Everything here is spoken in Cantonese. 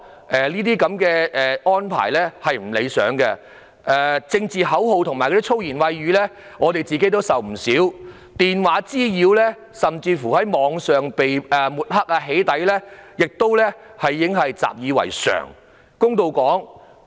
我們面對高叫政治口號及粗言穢語的情況也不少，而電話滋擾甚至在網上被抹黑和"起底"亦已習以為常。